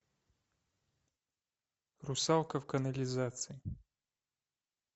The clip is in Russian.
русалка в канализации